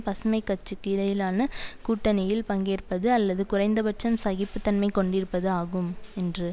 பசுமைக்கட்சிக்கு இடையிலான கூட்டணியில் பங்கேற்பது அல்லது குறைந்தபட்சம் சகிப்பு தன்மை கொண்டிருப்பது ஆகும் என்று